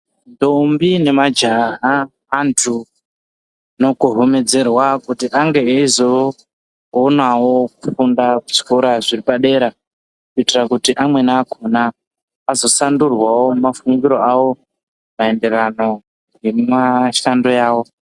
Ntombi nemajaya vandu vanokohomedzerwa kuti ange ezoonawo kufunda zvikora zviripadera kuitira kuti amweni akona azoshandurwawo nemafu giro avo maererano nemushando yavo